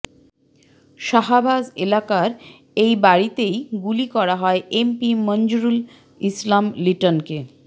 শাহাবাজ এলাকার এই বাড়িতেই গুলি করা হয় এমপি মঞ্জুরুল ইসলাম লিটনকে